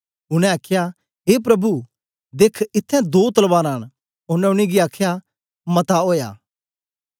उनै आखया ए प्रभु देख इत्थैं दो तलवारां न ओनें उनेंगी आखया मता ओया